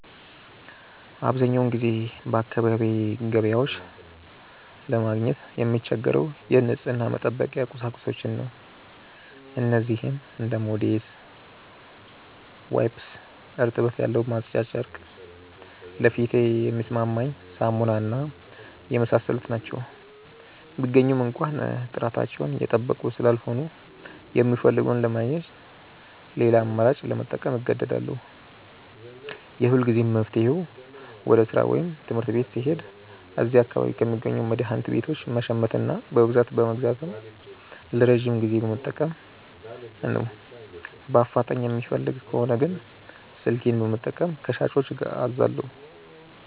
አብዛኛውን ጊዜ በአካባቢዬ ገበያዎች ለማግኘት የምቸገረው የንጽህና መጠበቂያ ቁሳቁሶችን ነው። እነዚህም እንደ ሞዴስ፣ ዋይፕስ (እርጥበት ያለው ማጽጃ ጨርቅ)፣ ለፊቴ የሚስማማኝ ሳሙና እና የመሳሰሉት ናቸው። ቢገኙም እንኳ ጥራታቸውን የጠበቁ ስላልሆኑ፣ የምፈልገውን ለማግኘት ሌላ አማራጭ ለመጠቀም እገደዳለሁ። የሁልጊዜም መፍትሄዬ ወደ ሥራ ወይም ትምህርት ቤት ስሄድ እዚያ አካባቢ ከሚገኙ መድኃኒት ቤቶች መሸመትና በብዛት በመግዛት ለረጅም ጊዜ መጠቀም ነው። በአፋጣኝ የምፈልግ ከሆነ ግን ስልኬን በመጠቀም ከሻጮች አዛለሁ።